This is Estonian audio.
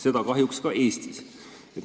Seda kahjuks ka Eestis.